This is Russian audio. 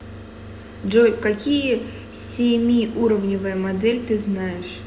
джой какие семиуровневая модель ты знаешь